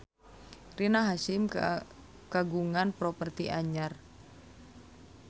Rina Hasyim kagungan properti anyar